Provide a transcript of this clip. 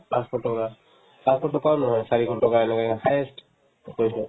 পাঁচশ টকা পাঁচশ টকাও নহয় চাৰিশ টকা এনেকে highest গৈছে ‌‌